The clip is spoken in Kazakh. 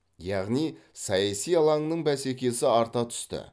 яғни саяси алаңның бәсекесі арта түсті